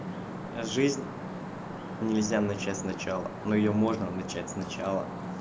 жизнь нельзя начать сначала но её можно начать сначала